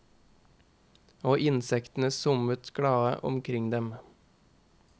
Og insektene summet glade omkring dem.